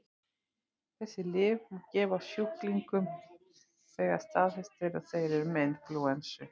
Þessi lyf má gefa sjúklingum þegar staðfest er að þeir eru með inflúensu.